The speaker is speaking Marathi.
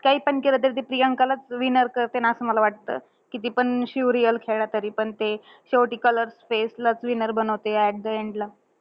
काहीपण केलं, तरी ते प्रियंकालाचं winner करतील, असं मला वाटतं. कितीपण शिव real खेळला, तरीपण ते शेवटी ते colors face लाचं winner बनवताय, at the end ला.